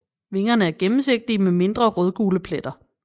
Vingerne er gennemsigtige med mindre rødgule pletter